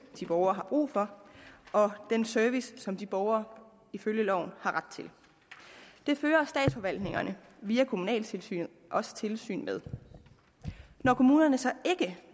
de borgere har brug for og den service som de borgere ifølge loven har ret til det fører statsforvaltningerne via kommunaltilsynet også tilsyn med når kommunerne så ikke